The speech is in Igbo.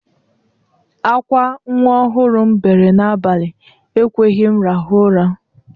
Akwa nwa ọhụrụ m bere n'abalị ekweghi m rahụ ụra.